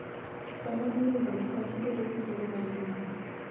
Sama in e wuoth, pachi bedo gi thuolo mar yueyo.